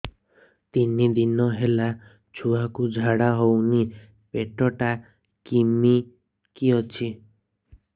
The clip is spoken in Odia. ତିନି ଦିନ ହେଲା ଛୁଆକୁ ଝାଡ଼ା ହଉନି ପେଟ ଟା କିମି କି ଅଛି